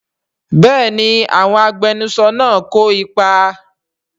Bẹ́ẹ̀ni àwọn agbẹnusọ náà kò ipa